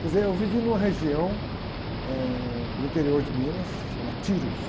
Quer dizer, eu vivi numa região, eh, no interior de Minas, chama.